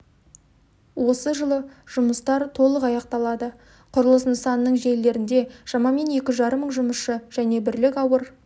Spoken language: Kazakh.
осы жылы жұмыстар толық аяқталады құрылыс нысанының желілерінде шамамен екі жарым мың жұмысшы және бірлік ауыр